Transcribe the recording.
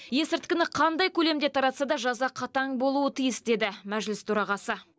есірткіні қандай көлемде таратса да жаза қатаң болуы тиіс деді мәжіліс төрағасы